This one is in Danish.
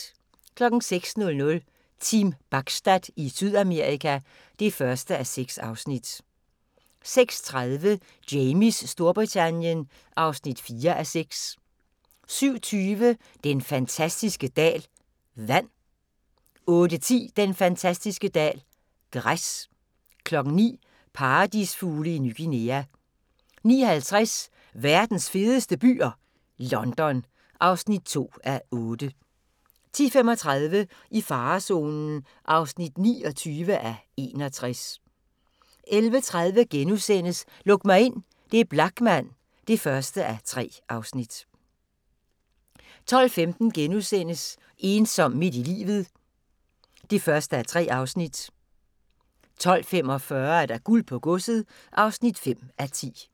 06:00: Team Bachstad i Sydamerika (1:6) 06:30: Jamies Storbritannien (4:6) 07:20: Den fantastiske dal – vand 08:10: Den fantastiske dal – græs 09:00: Paradisfugle i Ny Guinea 09:50: Verdens fedeste byer ? London (2:8) 10:35: I farezonen (29:61) 11:30: Luk mig ind – det er Blachman (1:3)* 12:15: Ensom midt i livet (1:3)* 12:45: Guld på godset (5:10)